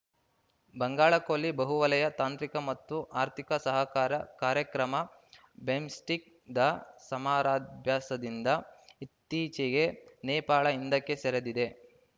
ಬಂಗಾಳ ಕೊಲ್ಲಿ ಬಹುವಲಯ ತಾಂತ್ರಿಕ ಮತ್ತು ಆರ್ಥಿಕ ಸಹಕಾರ ಕಾರ್ಯಕ್ರಮಬಿಮ್‌ಸ್ಟೆಕ್‌ದ ಸಮರಾಭ್ಯಾಸದಿಂದ ಇತ್ತೀಚೆಗೆ ನೇಪಾಳ ಹಿಂದಕ್ಕೆ ಸರಿದಿದೆ